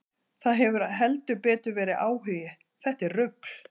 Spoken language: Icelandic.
Það hefur heldur betur verið áhugi, þetta er rugl.